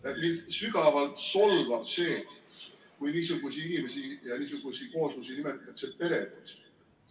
Ja mind sügavalt solvab see, kui niisugusi inimesi ja niisugusi kooslusi nimetatakse peredeks.